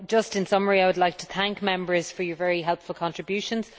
In summary I would like to thank Members for their very helpful contributions.